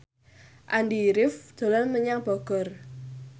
Andy rif dolan menyang Bogor